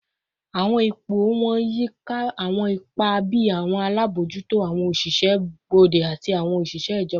Awọn ipo wọn yika awọn ipa bii awọn alabojuto, awọn oṣiṣẹ gbode, ati oṣiṣẹ ijọba